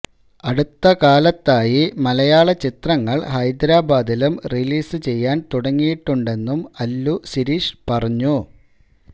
അടുത്ത കാലത്തായി മലയാള ചിത്രങ്ങള് ഹൈദ്രബാദിലും റിലീസ് ചെയ്യാന് തുടങ്ങിയിട്ടുണ്ടെന്നും അല്ലു സിരീഷ് പറഞ്ഞു